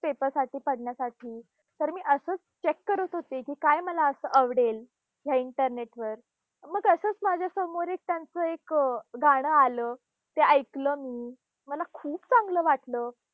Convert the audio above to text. Paper साठी साठी. तर मी असंच check करत होती की काय मला असं आवडेल, ह्या internet वर. मग असंच माझ्यासमोर त्यांचं एक गाणं आलं, ते ऐकलं मी. मला खूप चांगलं वाटलं.